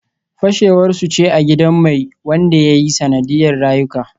Fashewar su ce a gidan mai wanda ya yi sanadiyar rayuka